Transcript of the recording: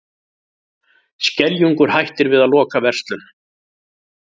Skeljungur hættir við að loka verslun